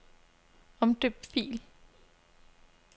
Omdøb fil.